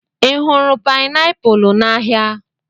Ị hụrụ painiapulu n'ahịa?